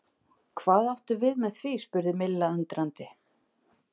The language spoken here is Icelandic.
Hvað áttu við með því? spurði Milla undrandi?